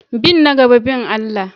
Bin na gaba bin Allah.